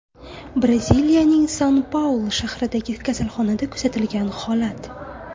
Braziliyaning San-Paulu shahridagi kasalxonada kuzatilgan holat.